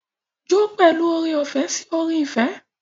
Jó pẹ̀lú oore-ọ̀fẹ́ sí orin ìfẹ́.